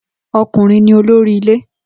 O̩kùnrin ni olórí ilé